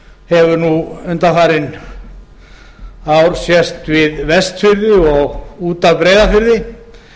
hefur nú undanfarin ár sést við vestfirði og út af breiðafirði